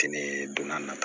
Kɛnɛ donna n na